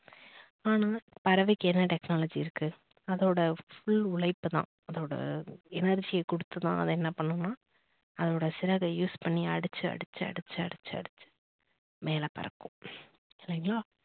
ஆனா பறவைக்கு என்ன technology இருக்கு. அதோட full உழைப்புதான் அதோட energy யை கொடுத்து தான் அது என்ன பண்ணுனா அதோட சிறகை பண்ணி அடிச்சு அடிச்சு அடிச்சு அடிச்சு அடிச்சு மேல பறக்கும். சரிங்களா